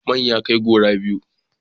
Man ya kai duro biyu